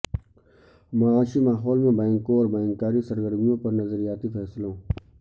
معاشی ماحول میں بینکوں اور بینکاری سرگرمیوں پر نظریاتی فیصلوں